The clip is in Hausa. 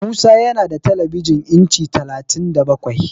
Musa yana da telebijin inci talatin da bakwai.